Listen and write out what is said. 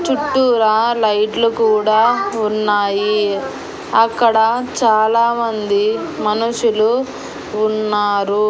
చుట్టూరా లైట్లు కూడా ఉన్నాయి అక్కడ చాలామంది మనుషులు ఉన్నారు.